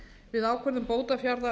við ákvörðun bótafjárhæðar